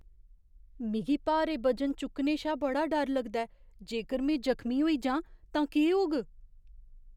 मिगी भारे बजन चुक्कने शा बड़ा डर लगदा ऐ। जेकर में जख्मी होई जांऽ तां केह्‌ होग?